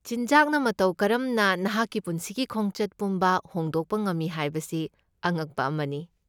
ꯆꯤꯟꯖꯥꯛꯅ ꯃꯇꯧ ꯀꯔꯝꯅ ꯅꯍꯥꯛꯀꯤ ꯄꯨꯟꯁꯤꯒꯤ ꯈꯣꯡꯆꯠ ꯄꯨꯝꯕ ꯍꯣꯡꯗꯣꯛꯄ ꯉꯝꯃꯤ ꯍꯥꯏꯕꯁꯤ ꯑꯉꯛꯄ ꯑꯃꯅꯤ꯫